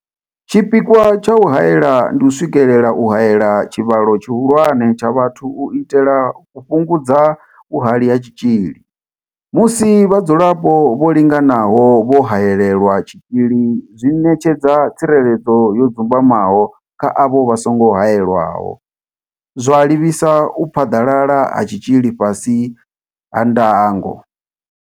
Tshipikwa tsha u haela ndi u swikelela u haela tshivhalo tshihulwane tsha vhathu u itela u fhungudza vhuhali ha tshitzhili, musi vhadzulapo vho linganaho vho haelelwa tshitzhili zwi ṋetshedza tsireledzo yo dzumbamaho kha avho vha songo haelwaho, zwa livhisa u phaḓalala ha tshitzhili fhasi ha ndango.